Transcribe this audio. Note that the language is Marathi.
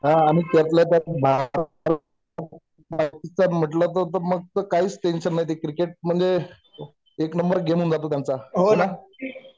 हा आम्हीं पासून बाहेर होतो म्हटलं म्हणजे काहीच टेन्शन नाही ते क्रिकेट एक नंबर गेम होऊन जातो त्यांचा हे ना